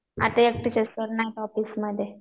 आता एकटेच आहेत ना सर ऑफिसमध्ये